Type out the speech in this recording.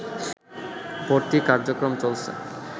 ভর্তি কার্যক্রম চলছে